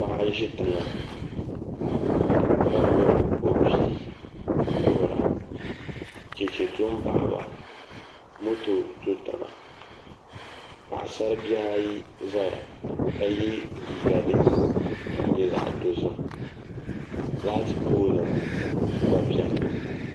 Paɣa n ʒi tiŋa ka gbubi o bia kuhura chɛchɛ do n baɣaba moto do tiŋa paɣasari bihi ayi ʒɛya ka yɛ liiga din nyɛ zaɣ dozim laati pool gba biɛni